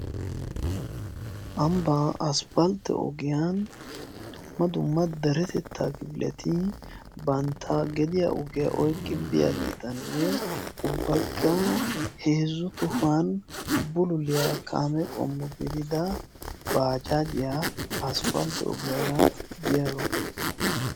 ambbaa asppaltti ogiyan dumma dumma daretettaa kifiletii bantta gediya ogiyaa oiqqi biyaa giitanne ubbakka heezzu tohuwan bululiyaa kaame qommo gedida baacaajiyaa asppaltte ogiyaara biyaaro.